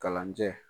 Kalanjɛ